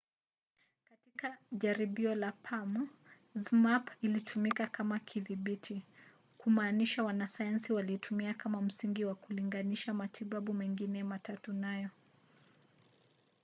katika jaribio la palm zmapp ilitumika kama kidhibiti kumaanisha wanasayansi waliitumia kama msingi na kulinganisha matibabu mengine matatu nayo